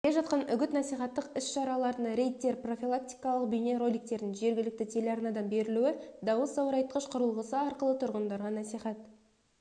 келе жатқан үгіт-насихаттық іс-шараларына рейдтер профилактикалық бейнероликтердің жергілікті телеарнадан берілуі дауысзорайтқыш құрылғысы арқылы тұрғындарға насихат